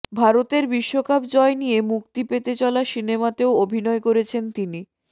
ভারতের বিশ্বকাপ জয় নিয়ে মুক্তি পেতে চলা সিনেমাতেও অভিনয় করেছেন তিনি